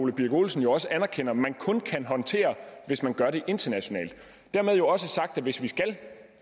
ole birk olesen også anerkender at man kun kan håndtere hvis man gør det internationalt dermed jo også sagt at hvis vi skal